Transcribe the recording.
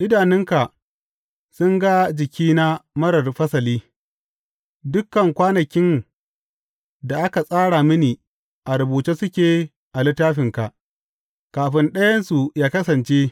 Idanunka sun ga jikina marar fasali; dukan kwanakin da aka tsara mini a rubuce suke a littafinka kafin ɗayansu yă kasance.